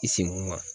I senko ma